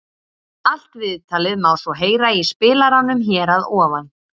Allt viðtalið má svo heyra í spilaranum hér að ofan.